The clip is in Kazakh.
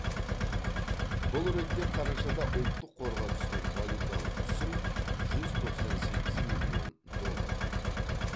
бұл ретте қарашада ұлттық қорға түскен валюталық түсім жүз тоқсан сегіз миллион долларды құрады